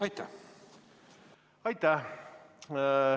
Aitäh!